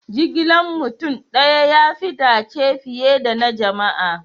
Jigilan mutum daya ya fi dace fiye da na jama'a.